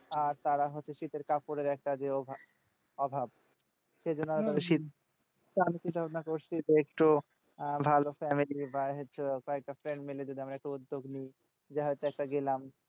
আর তারা হচ্ছে শীতের কাপড়ের একটা যে অভাব সেইজন্য আমি চিন্তা ভাবনা করছি যে একটু ভালো family বা হচ্ছে কয়েকটা friend মিলে যদি আমরা উদ্যোগ নিই যে হয়তো একটা গেলাম